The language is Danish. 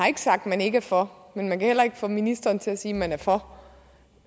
sagt at man ikke er for men man kan heller ikke få ministeren til at sige at man er for